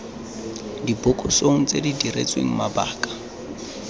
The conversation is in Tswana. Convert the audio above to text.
dibokosong tse di diretsweng mabaka